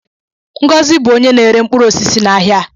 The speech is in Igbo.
Ngọzi bụ onye na-ere mkpụrụ osisi n'ahịa a.